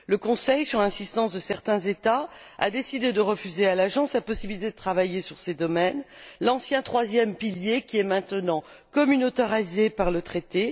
Le Conseil, sur l'insistance de certains États, a décidé de refuser à l'Agence la possibilité de travailler sur ces domaines l'ancien troisième pilier qui est maintenant communautarisé par le traité.